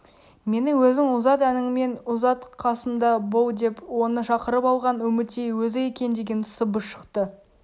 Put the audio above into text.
мені өзің ұзат әніңмен ұзат қасымда бол деп оны шақырып алған үмітей өзі екен деген сыбыс шықты